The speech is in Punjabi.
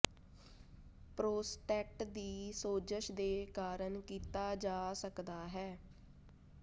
ਪ੍ਰੋਸਟੇਟ ਦੀ ਸੋਜਸ਼ ਦੇ ਕਾਰਨ ਕੀਤਾ ਜਾ ਸਕਦਾ ਹੈ